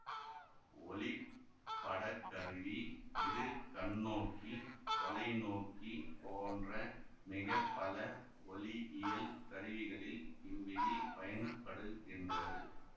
ஒளிப்படக் கருவி இருகண்ணோக்கி தொலைநோக்கி போன்ற மிக பல ஒளியியல் கருவிகளில் இவ்விதி பயன்படுகின்றது